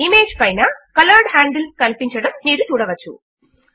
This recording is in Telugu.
ఇమేజ్ పైన కలర్డ్ హాండిల్స్ కనిపించడము మీరు చూడవచ్చు